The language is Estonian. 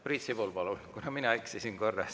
Priit Sibul, palun!